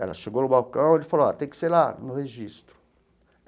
Ela chegou no balcão e ele falou ó, tem que ser lá no registro.